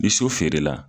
Ni so feerela